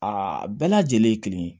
Aa bɛɛ lajɛlen ye kelen ye